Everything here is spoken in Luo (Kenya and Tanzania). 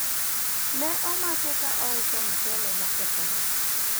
ne omake ka ouso mchele mokethore